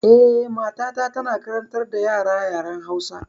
Eh, matata tana karantar da yara yaren Hausa.